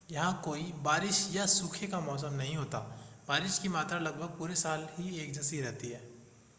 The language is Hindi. यहां कोई बारिश या सूखे का मौसम नहीं होता बारिश की मात्रा लगभग पूरे साल ही एक जैसी रहती है